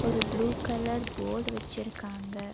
ஒரு blue colour போடு வச்சுருக்காங்க.